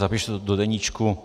Zapíši to do deníčku.